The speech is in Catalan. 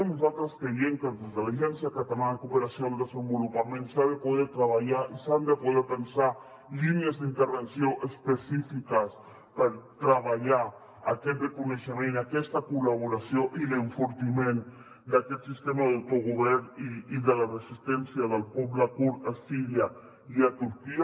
nosaltres creiem que des de l’agència catalana de cooperació al desenvolupament s’ha de poder treballar i s’han de poder pensar línies d’intervenció específiques per treballar aquest reconeixement aquesta col·laboració i l’enfortiment d’aquest sistema d’autogovern i de la resistència del poble kurd a síria i a turquia